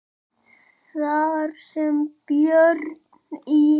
Þar sem Björn í